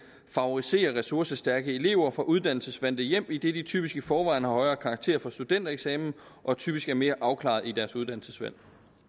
favoriserer ressourcestærke elever fra uddannelsesvante hjem idet de typisk i forvejen har højere karakterer for studentereksamen og typisk er mere afklarede i deres uddannelsesvalg